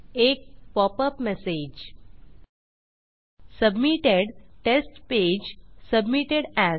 एक popup message submitted - test page submitted as